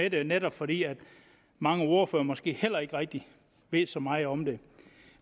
i dag netop fordi mange ordførere måske heller ikke rigtig ved så meget om det